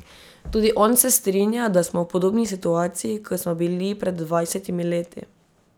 Tudi on se strinja, da smo v podobni situaciji, kot smo bili pred dvajsetimi leti.